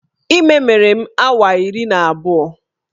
Ime mere m awa iri na abụọ